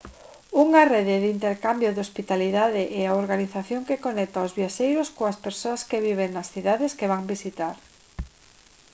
unha rede de intercambio de hospitalidade é a organización que conecta aos viaxeiros coas persoas que viven nas cidades que van visitar